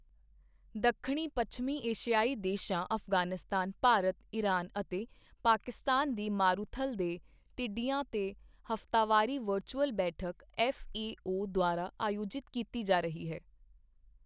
ਦੱਖਣੀ ਪੱਛਮੀ ਏਸ਼ੀਆਈ ਦੇਸ਼ਾਂ ਅਫ਼ਗ਼ਾਨਿਸਤਾਨ, ਭਾਰਤ, ਈਰਾਨ ਅਤੇ ਪਾਕਿਸਤਾਨ ਦੀ ਮਾਰੂਥਲ ਦੇ ਟਿੱਡੀਆਂ ਤੇ ਹਫ਼ਤਾਵਾਰੀ ਵਰਚੁਅਲ ਬੈਠਕ ਐੱਫ਼ਏਓ ਦੁਆਰਾ ਆਯੋਜਿਤ ਕੀਤੀ ਜਾ ਰਹੀ ਹੈ।